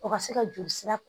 O ka se ka joli sira